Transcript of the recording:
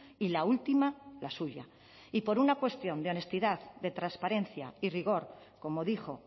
y la última la suya y por una cuestión de honestidad de transparencia y rigor como dijo